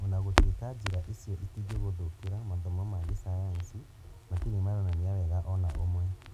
Ona gũtuĩka njĩra icio itingĩgũthũkĩra, mathomo ma gĩcayanci matirĩ maronania wega ona ũmwe